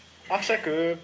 ақша көп